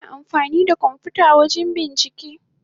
Ana amfani da kwamfuta wajen yin bincike.